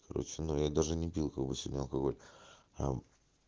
срочно я даже не пил кого сегодня алкоголь а